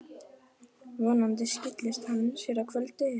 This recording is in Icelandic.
Vonandi skili hann sér í kvöld.